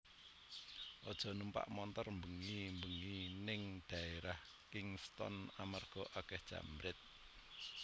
Ojo numpak montor mbengi mbengi ning daerah Kingston amarga akeh jambret